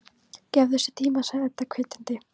Gefðu þessu tíma, sagði Edda hvetjandi.